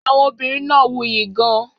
Àwọn obìnrin náà wuyì gan-an.